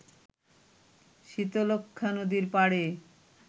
শীতলক্ষ্যা নদীর পাড়ে